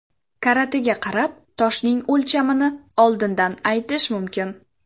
Karatiga qarab toshning o‘lchamini oldindan aytish mumkin.